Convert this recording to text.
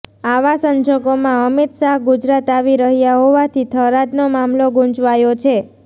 આવા સંજોગોમાં અમિત શાહ ગુજરાત આવી રહ્યા હોવાથી થરાદનો મામલો ગુંચવાયો છે